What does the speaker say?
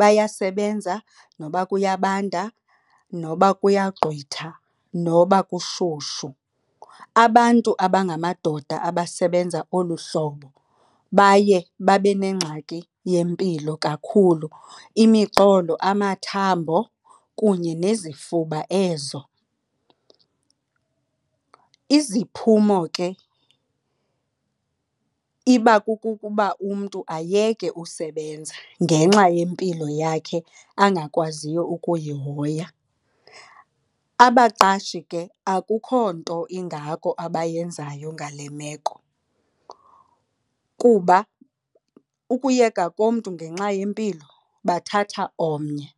Bayasebenza noba kuyabanda, noba kuyagqwitha, noba kushushu. Abantu abangamadoda abasebenza olu hlobo baye babe nengxaki yempilo kakhulu, imiqolo, amathambo kunye nezifuba ezo. Iziphumo ke iba kukukuba umntu ayeke usebenza ngenxa yempilo yakhe angakwaziyo ukuyihoya. Abaqashi ke akukho nto ingako abayenzayo ngale meko kuba ukuyeka komntu ngenxa yempilo bathatha omnye.